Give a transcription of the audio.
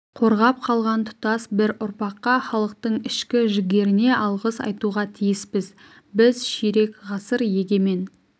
қорғап қалған тұтас бір ұрпаққа халықтың ішкі жігеріне алғыс айтуға тиіспіз біз ширек ғасыр егемен